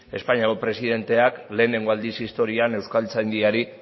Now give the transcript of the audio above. espainiako presidenteak lehenengo aldiz historian euskaltzaindiari